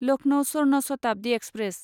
Lucknow Swarna Shatabdi express